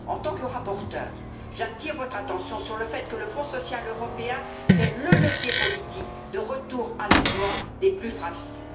En tant que rapporteure, j'attire votre attention sur le fait que le Fonds social européen, c'est le levier politique du retour à l'emploi des plus fragiles.